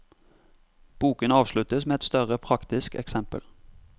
Boken avsluttes med et større praktisk eksempel.